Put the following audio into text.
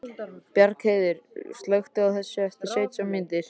Bjargheiður, slökktu á þessu eftir sautján mínútur.